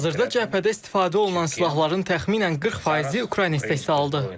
Hazırda cəbhədə istifadə olunan silahların təxminən 40 faizi Ukrayna istehsalıdır.